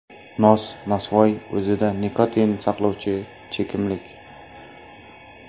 Nos, nosvoy o‘zida nikotin saqlovchi chekimlik.